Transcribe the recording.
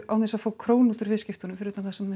án þess að fá krónu út úr viðskiptunum fyrir utan það sem